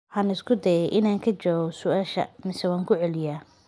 Waxaan isku dayay inaan ka jawaabo su'aashaada, mise waan ku celiyaa?